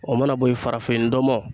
O mana bo ye farafin ndɔmɔ